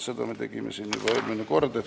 Seda me tegime siin juba eelmine kord.